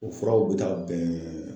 O furaw bɛ taa bɛn